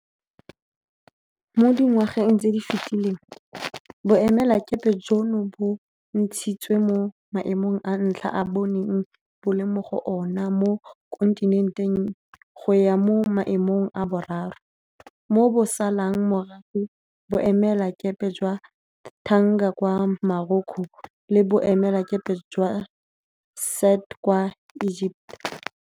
Mo dingwageng tse di fetileng, boemelakepe jono bo ntshitswe mo maemong a ntlha a bo neng bo le mo go ona mo kontinenteng go ya mo maemong a boraro, mo bo salang morago boemelakepe jwa Tangier kwa Morocco le boemelakepe jwa Said kwa Egepeta.